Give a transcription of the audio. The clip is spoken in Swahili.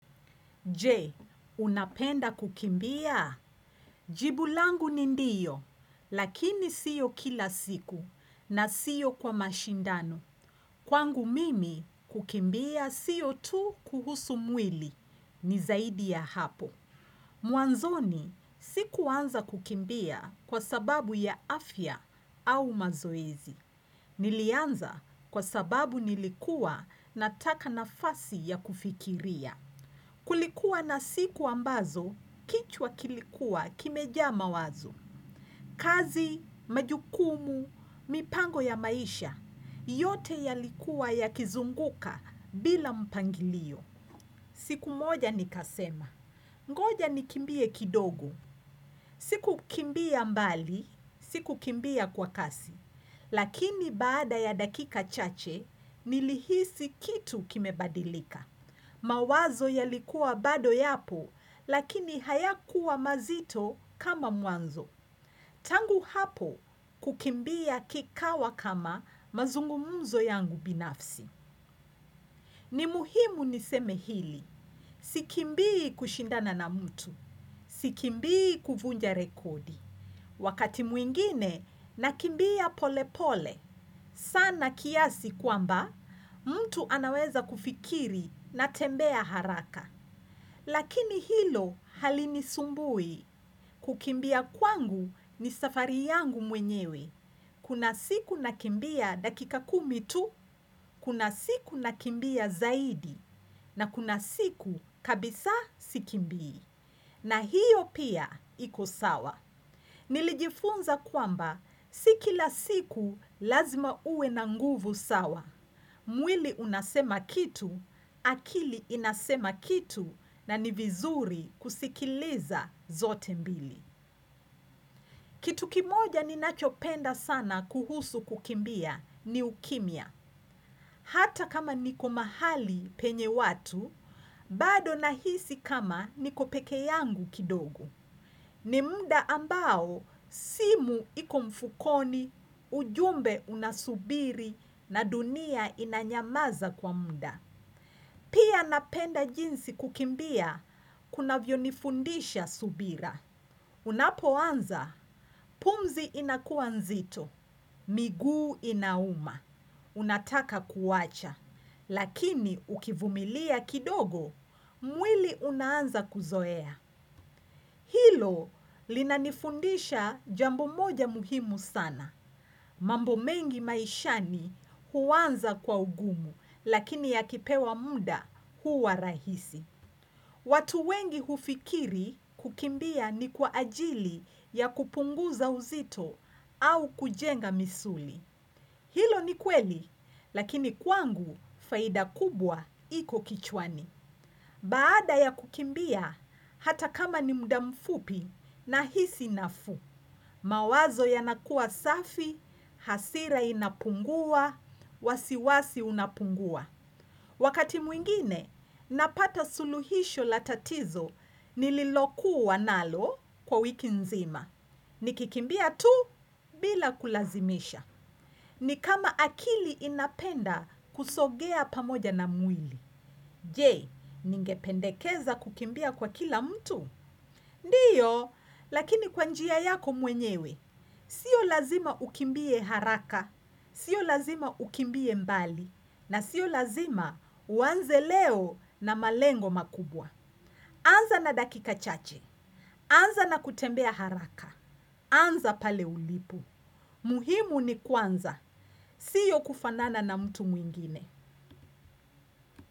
Je, unapenda kukimbia? Jibu langu ni ndiyo, lakini siyo kila siku na siyo kwa mashindano. Kwangu mimi kukimbia siyo tu kuhusu mwili ni zaidi ya hapo. Mwanzoni, sikuanza kukimbia kwa sababu ya afya au mazoezi. Nilianza kwa sababu nilikuwa nataka nafasi ya kufikiria. Kulikuwa na siku ambazo, kichwa kilikuwa kimejaa mawazo, kazi, majukumu, mipango ya maisha, yote yalikuwa yakizunguka bila mpangilio. Siku moja nikasema. Ngoja nikimbie kidogo. Si kukimbia mbali, si kukimbia kwa kasi. Lakini baada ya dakika chache, nilihisi kitu kimebadilika. Mawazo yalikuwa bado yapo, lakini hayakuwa mazito kama mwanzo. Tangu hapo kukimbia kikawa kama mazungumuzo yangu binafsi. Ni muhimu niseme hili. Si kimbii kushindana na mtu. Si kimbii kuvunja rekodi. Wakati mwingine nakimbia pole pole, sana kiasi kwamba, mtu anaweza kufikiri natembea haraka. Lakini hilo halinisumbui, kukimbia kwangu ni safari yangu mwenyewe. Kuna siku nakimbia dakika kumi tu, kuna siku nakimbia zaidi, na kuna siku kabisa sikimbii. Na hiyo pia iko sawa. Nilijifunza kwamba si kila siku lazima uwe na nguvu sawa. Mwili unasema kitu, akili inasema kitu na ni vizuri kusikiliza zote mbili. Kitu kimoja ninachopenda sana kuhusu kukimbia ni ukimya. Hata kama niko mahali penye watu, bado nahisi kama niko peke yangu kidogo. Ni mda ambao simu iko mfukoni, ujumbe unasubiri na dunia inanyamaza kwa muda. Pia napenda jinsi kukimbia kunavyo nifundisha subira. Unapoanza, pumzi inakuwa nzito, miguu inauma. Unataka kuwacha, lakini ukivumilia kidogo, mwili unaanza kuzoea. Hilo linanifundisha jambo moja muhimu sana. Mambo mengi maishani huanza kwa ugumu, lakini yakipewa muda huwa rahisi. Watu wengi hufikiri kukimbia ni kwa ajili ya kupunguza uzito au kujenga misuli. Hilo ni kweli, lakini kwangu faida kubwa iko kichwani. Baada ya kukimbia hata kama ni mda mfupi nahisi nafu. Mawazo yanakuwa safi, hasira inapungua, wasiwasi unapungua. Wakati mwingine, napata suluhisho la tatizo nililokuwa nalo kwa wiki nzima. Nikikimbia tu bila kulazimisha. Ni kama akili inapenda kusogea pamoja na mwili. Je, ningependekeza kukimbia kwa kila mtu? Ndiyo, lakini kwa njia yako mwenyewe. Sio lazima ukimbie haraka. Sio lazima ukimbie mbali. Na sio lazima uanze leo na malengo makubwa. Anza na dakika chache. Anza na kutembea haraka. Anza pale ulipo muhimu ni kuanza. Sio kufanana na mtu mwingine.